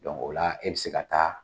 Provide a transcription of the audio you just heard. ola e bɛ se ka taa